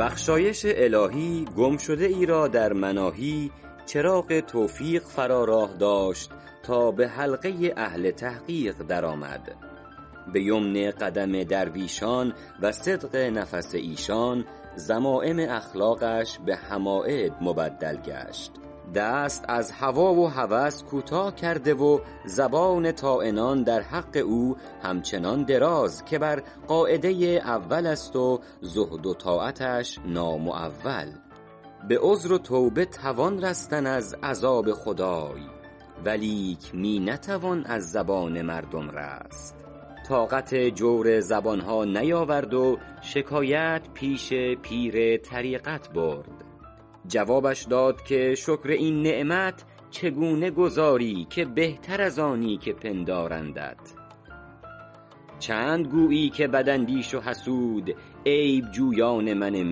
بخشایش الهی گم شده ای را در مناهی چراغ توفیق فرا راه داشت تا به حلقه اهل تحقیق در آمد به یمن قدم درویشان و صدق نفس ایشان ذمایم اخلاقش به حماید مبدل گشت دست از هوا و هوس کوتاه کرده و زبان طاعنان در حق او همچنان دراز که بر قاعده اول است و زهد و طاعتش نامعول به عذر و توبه توان رستن از عذاب خدای ولیک می نتوان از زبان مردم رست طاقت جور زبان ها نیاورد و شکایت پیش پیر طریقت برد جوابش داد که شکر این نعمت چگونه گزاری که بهتر از آنی که پندارندت چند گویی که بد اندیش و حسود عیب جویان من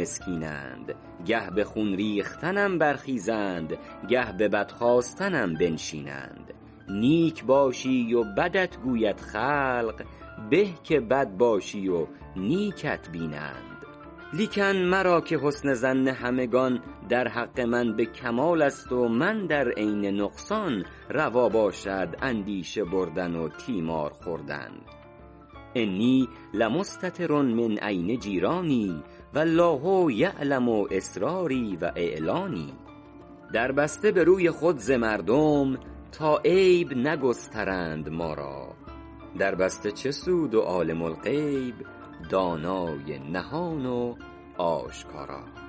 مسکینند گه به خون ریختنم برخیزند گه به بد خواستنم بنشینند نیک باشی و بدت گوید خلق به که بد باشی و نیکت بینند لیکن مرا -که حسن ظن همگنان در حق من به کمال است و من در عین نقصان روا باشد اندیشه بردن و تیمار خوردن انی لمستتر من عین جیرانی و الله یعلم أسراري و أعلاني در بسته به روی خود ز مردم تا عیب نگسترند ما را در بسته چه سود و عالم الغیب دانای نهان و آشکارا